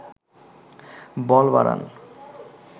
বল বাড়ান